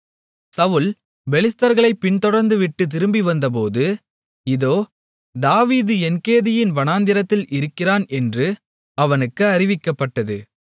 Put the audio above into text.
சவுல் பெலிஸ்தர்களைப் பின்தொடர்வதைவிட்டுத் திரும்பி வந்தபோது இதோ தாவீது என்கேதியின் வனாந்திரத்தில் இருக்கிறான் என்று அவனுக்கு அறிவிக்கப்பட்டது